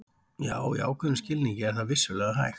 Já, í ákveðnum skilningi er það vissulega hægt.